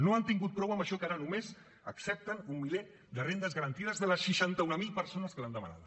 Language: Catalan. no n’han tingut prou amb això que ara només accepten un miler de rendes garantides de les seixanta mil persones que l’han demanada